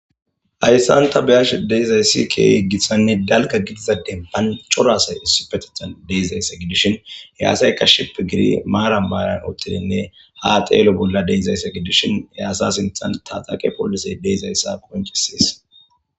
Hayssanta beyash deyzayssike yeggissanne dalka gidizade bancho raasay issupetehan deyzaysse gidishin yaasayka ship giri maaran baaran oottidinne ha xeelo bolla deizaysse gidishin yaasa sinthan taxaqe poolise deizayssa qoncisiis.